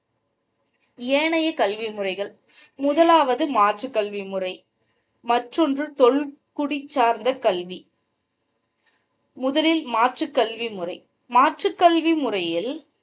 ஏனைய கல்வி முறைகள் முதலாவது மாற்று கல்வி முறை மற்றொன்று தொல்குடி சார்ந்த கல்வி முதலில் மாற்று கல்வி முறை மாற்று கல்வி முறையில்